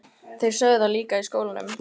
Þeir sögðu það líka í skólanum.